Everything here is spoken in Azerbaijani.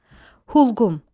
Hulqum.